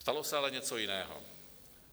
Stalo se ale něco jiného.